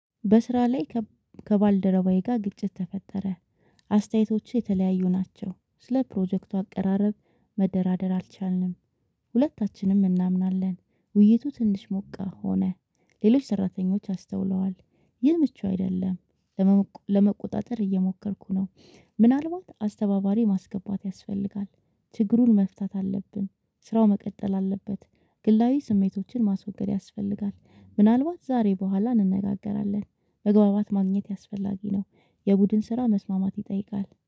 በስራ ላይ ከባልደረባዬ ጋር ግጭት ተፈጠረ። አስተያየቶች የተለያዩ ናቸው። ስለ ፕሮጀክቱ አቀራረብ መደራደር አልቻልንም። ሁለታችንም እናምናለን ውይይቱ ትንሽ ሞቃት ሆነ። ሌሎች ሰራተኞች አስተውለዋል። ይህ ምቹ አይደለም። ለመቆጣጠር እየሞከርኩ ነው። ምናልባት አስተባባሪ ማስገባት ያስፈልጋል። ችግሩን መፍታት አለብን። ስራው መቀጠል አለበት። ግላዊ ስሜቶችን ማስወገድ ያስፈልጋል ምናልባት ዛሬ በኋላ እንነጋገራለን። መግባባት ማግኘት አስፈላጊ ነው። የቡድን ስራ መስማማት ይጠይቃል